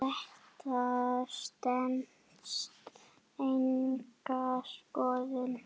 Þetta stenst enga skoðun.